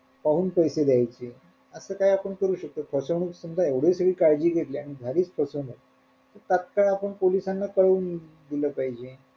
पाहून पैसे देयचे असं काय आपण करू शकतो फसवणूक समजा एवढी तुम्ही काळजी घेतली आणि झालीच फसवणूक तात्काळ आपण पोलिसांना काळवून दिल पाहिजे.